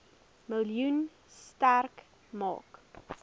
miljoen sterk maak